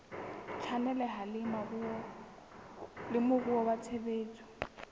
tshwaneleha le moruo wa tshebetso